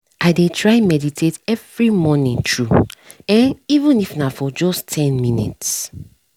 i deh try meditate every morning true eh even if na for just ten minutes